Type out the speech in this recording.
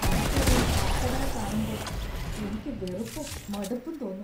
അടുക്കളയിൽ പാറ്റകളെ കാണുമ്പോൾ എനിക്ക് വെറുപ്പും ,മടുപ്പും തോന്നും .